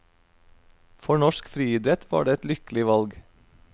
For norsk friidrett var det et lykkelig valg.